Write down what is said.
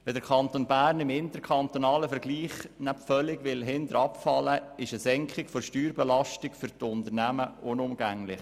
Wenn der Kanton Bern im interkantonalen Vergleich nicht völlig abfallen will, ist eine Senkung der Steuerbelastung für die Unternehmen unumgänglich.